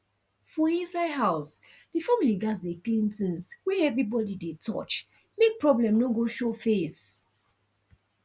for inside house the family gats dey clean things wey everybody dey touch make problem no go show face